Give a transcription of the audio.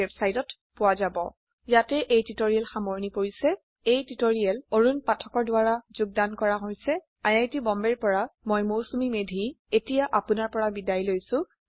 httpspoken tutorialorgNMEICT Intro httpspoken tutorialorgNMEICT Intro ইয়াতে এই tutorial সামৰনি পৰিছে এই টিউটৰিয়েল অৰুন পাথকৰ দ্ৱাৰা কৰা হৈছে আই আই টী বম্বে ৰ পৰা মই মৌচুমী মেধী এতিয়া আপুনাৰ পৰা বিদায় লৈছো যোগদানৰ বাবে ধন্যবাদ